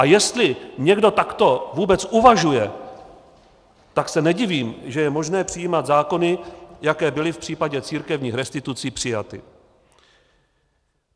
A jestli někdo takto vůbec uvažuje, tak se nedivím, že je možné přijímat zákony, jaké byly v případě církevních restitucí přijaty.